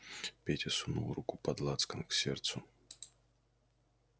петя сунул руку под лацкан к сердцу